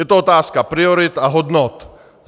Je to otázka priorit a hodnot.